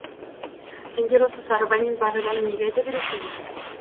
сендер осы сарыбай мен бағиланы неге айта бересіңдер